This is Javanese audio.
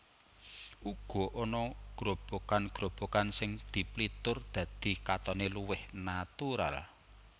Uga ana grobogan grobogan sing diplitur dadi katone luwih natural